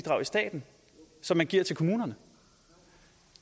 staten som man giver til kommunerne